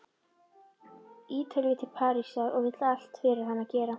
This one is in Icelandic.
Ítalíu til Parísar og vill allt fyrir hana gera.